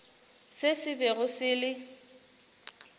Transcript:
se se bego se le